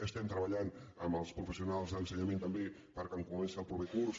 estem treballant amb els professionals d’ensenyament també perquè quan comenci el proper curs